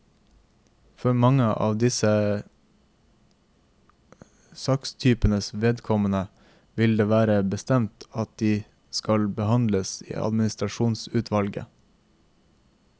For mange av disse sakstypenes vedkommende vil det være bestemt at de skal behandles i administrasjonsutvalget.